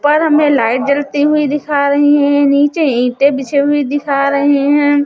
पर हमें लाइट जलती हुई दिखा रही हैं नीचे ईंटे बिछे हुए दिखा रहे हैं।